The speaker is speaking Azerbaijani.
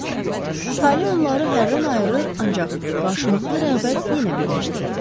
Tale onları hərdən ayırır, ancaq qarşılıqlı rəğbət yenə birləşdirirdi.